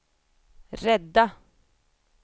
rädda